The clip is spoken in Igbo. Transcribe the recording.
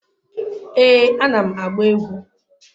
Ee, anam agba egwu